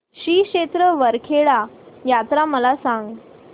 श्री क्षेत्र वरखेड यात्रा मला सांग